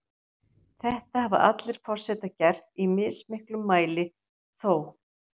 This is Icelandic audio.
Þetta hafa allir forsetar gert, í mismiklum mæli þó.